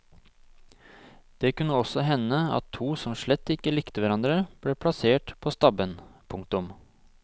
Det kunne også hende at to som slett ikke likte hverandre ble plassert på stabben. punktum